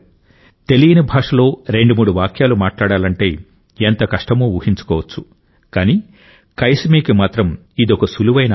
తెలియని భాషలో రెండు మూడు వాక్యాలు మాట్లాడాలంటే ఎంత కష్టమో ఊహించుకోవచ్చు కానీ కైసమీకి మాత్రం ఇదొక సులువైన ఆట